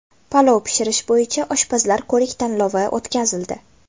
Palov pishirish bo‘yicha oshpazlar ko‘rik-tanlovi o‘tkazildi.